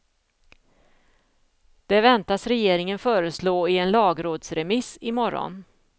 Det väntas regeringen föreslå i en lagrådsremiss i morgon.